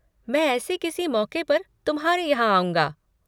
मैं ऐसे किसी मौके पर तुम्हारे यहाँ आऊंगा।